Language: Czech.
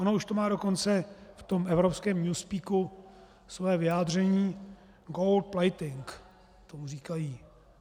Ono už to má dokonce v tom evropském newspeaku své vyjádření, gold-plating tomu říkají.